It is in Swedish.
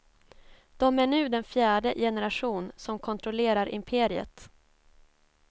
De är nu den fjärde generation som kontrollerar imperiet.